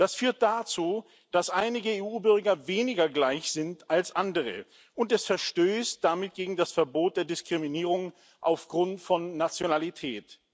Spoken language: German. Das führt dazu, dass einige EU Bürger weniger gleich sind als andere, und es verstößt damit gegen das Verbot der Diskriminierung aufgrund von Nationalität.